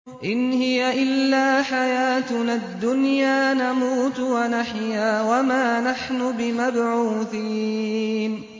إِنْ هِيَ إِلَّا حَيَاتُنَا الدُّنْيَا نَمُوتُ وَنَحْيَا وَمَا نَحْنُ بِمَبْعُوثِينَ